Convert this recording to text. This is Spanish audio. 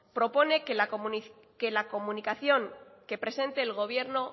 propone que la comunicación que presente el gobierno